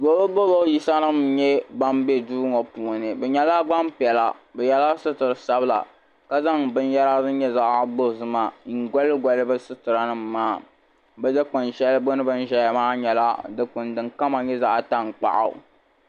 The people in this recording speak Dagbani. Dolɔdolɔ yisa nim n nyɛ ban be duuŋɔ puuni. bi nyɛla gban piɛla bɛ yela sitiri sabila. ka zaŋ bɛn yara din nyɛ zaɣi dozima n goligoli bɛ sitira nim maa. bi dikpuni sheli gbuni bi ni ʒaya maa di nyɛla zaɣi tan kpaɣu.